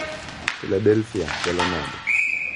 Philadelphia chalomnade?